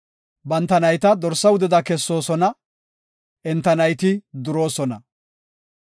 Banta nayta dorsaa wudeda kessoosona; enta nayti duroosona.